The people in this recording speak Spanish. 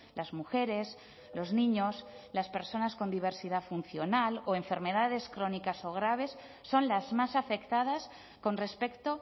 las mujeres los niños las personas con diversidad funcional o enfermedades crónicas o graves son las más afectadas con respecto